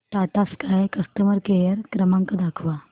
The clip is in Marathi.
टाटा स्काय कस्टमर केअर क्रमांक दाखवा